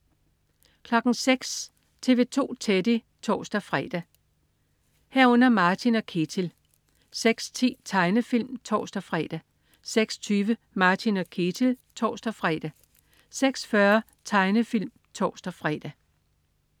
06.00 TV 2 Teddy (tors-fre) 06.00 Martin & Ketil (tors-fre) 06.10 Tegnefilm (tors-fre) 06.20 Martin & Ketil (tors-fre) 06.40 Tegnefilm (tors-fre)